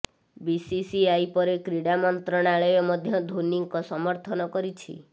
BCCI ପରେ କ୍ରୀଡ଼ା ମନ୍ତ୍ରଣାଳୟ ମଧ୍ୟ ଧୋନୀଙ୍କ ସମର୍ଥନ କରିଛି